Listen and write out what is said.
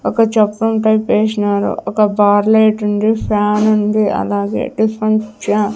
ఒక జప్పం టైప్ వేశినారు ఒక బార్లేట్ ఉంది ఫ్యాన్ ఉంది అలాగే టిఫిన్ చా --